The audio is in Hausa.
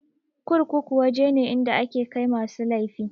Kurkuku waje ne inda ake kai masu laifi.